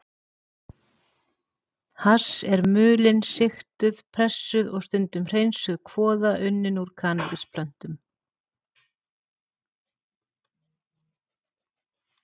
Hass er mulin, sigtuð, pressuð og stundum hreinsuð kvoða unnin úr kannabisplöntum.